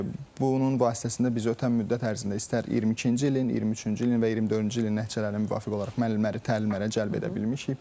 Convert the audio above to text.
Bunun vasitəsilə biz ötən müddət ərzində istər 22-ci ilin, 23-cü ilin və 24-cü ilin nəticəsinə müvafiq olaraq müəllimləri təlimlərə cəlb edə bilmişik.